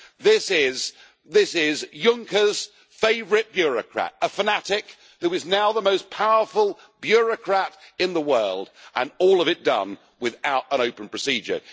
This is Juncker's favourite bureaucrat, a fanatic, who is now the most powerful bureaucrat in the world, and all of it done without an open procedure.